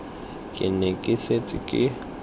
ke ne ke setse ke